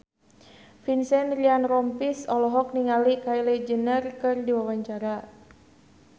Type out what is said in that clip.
Vincent Ryan Rompies olohok ningali Kylie Jenner keur diwawancara